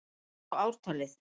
Ég sá ártalið!